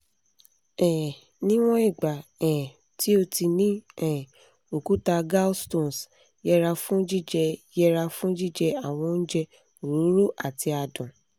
um níwọ̀n ìgbà um tí o ti ní um òkúta gallstones yẹra fún jíjẹ yẹra fún jíjẹ àwọn oúnjẹ òróró àti adùn